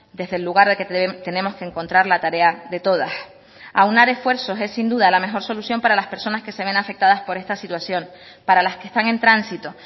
desde el lugar de que tenemos que encontrar la tarea de todas aunar esfuerzos es sin duda la mejor solución para las personas que se ven afectadas por esta situación para las que están en tránsito